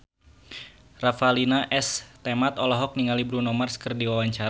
Revalina S. Temat olohok ningali Bruno Mars keur diwawancara